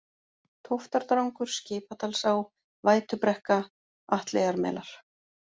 Tóftardrangur, Skipadalsá, Vætubrekka, Atleyjarmelar